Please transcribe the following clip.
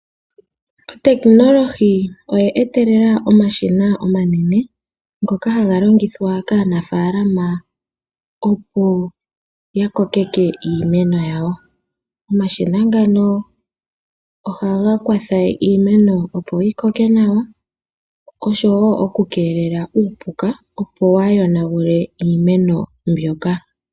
Otekinolohi oye etelela omashina omanene ngoka ha ga longothwa kaanafalama opo ya kokeke iimeno yawo. Omashina ngano oha ga kwatha iimeno opo yi koke nawa, osho wo okukelela uupuka opo wa yonagule iimeno mbyoka.